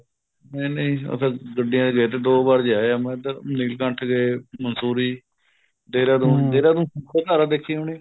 ਨਹੀਂ ਨਹੀਂ ਉਹ ਤਾਂ ਗੱਡੀਆਂ ਚ ਗਏ ਸੀ ਦੋ ਬਾਰ ਜਾ ਆਏ ਹਮੇ ਇੱਧਰ ਨੀਲਕੰਠ ਗਏ ਮੰਸੂਰੀ ਦੇਹਰਾਦੂਨ ਦੇਹਰਾਦੂਨ ਇੱਖੋ ਧਾਰਾ ਦੇਖੀ ਹੋਣੀ